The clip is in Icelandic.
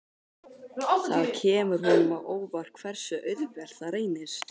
Það kemur honum á óvart hversu auðvelt það reynist.